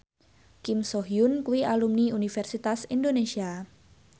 Kim So Hyun kuwi alumni Universitas Indonesia